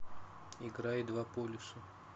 играй два полюса